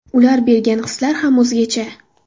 Ular bergan hislar ham o‘zgacha.